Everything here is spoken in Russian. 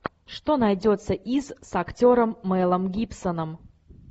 что найдется из с актером мелом гибсоном